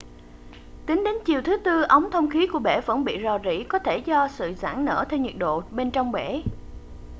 tính đến chiều thứ tư ống thông khí của bể vẫn bị rò rỉ có thể do sự giãn nở theo nhiệt độ bên trong bể